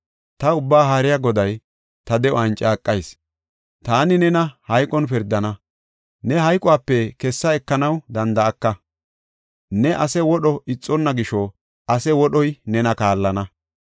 Ta Ubbaa Haariya Goday ta de7uwan caaqayis: taani nena hayqon pirdana; ne hayqope kessa ekanaw danda7aka. Ne ase wodho ixonna gisho ase wodhey nena kallana.